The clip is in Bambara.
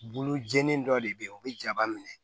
Bolo jeni dɔ de bɛ ye o bɛ jaba minɛ